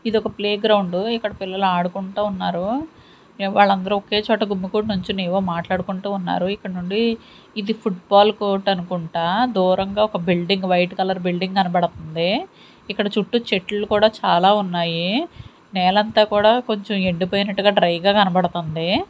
ఇదొక playground ఇక్కడ పిల్లలు ఆడుకుంట ఉన్నారు వాళ్ళందరూ ఒకే చోట గుమ్మికూడి నుంచుని ఏవో మాట్లాడుకుంటూ ఉన్నారు ఇక్కడ నుండి ఇది ఫుడ్ బాల్ కోట్ అనుకుంటా దూరంగా ఒక బిల్డింగ్ వైట్ కలర్ బిల్డింగ్ కనబడుతుంది ఇక్కడ చుట్టూ చెట్లు కూడా చాలా ఉన్నాయి నేలంతా కూడా కొంచెం ఎండిపోయినట్టుగా డ్రై గా కనబడుతుంది.